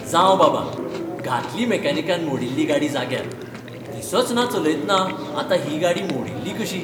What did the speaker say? जावं बाबा, घातली मेकॅनिकान मोडिल्ली गाडी जाग्यार, दिसचना चलयतना आतां ही गाडी मोडिल्ली कशी.